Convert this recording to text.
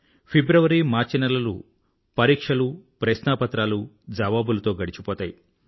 ఫిబ్రవరి మార్చి నెలలు పరీక్షలు ప్రశ్నా పత్రాలు జవాబులతో గడిచిపోతాయి